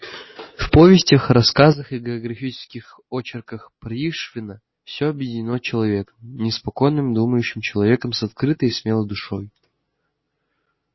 в повестях рассказах и географических очерках пришвина всё объединено человеком неспокойным думающим человеком с открытой и смелой душой